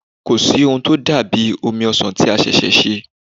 Kò sí o n tó dà bí omi ọsàn tí a ṣẹ̀ṣẹ̀ ṣe.